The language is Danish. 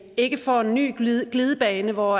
ikke får en ny glidebane hvor